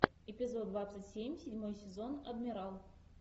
эпизод двадцать семь седьмой сезон адмирал